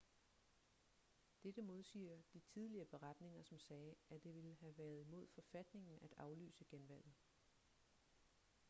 dette modsiger de tidligere beretninger som sagde at det ville have været imod forfatningen at aflyse genvalget